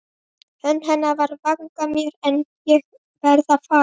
Hönd hennar við vanga mér- En ég varð að fara.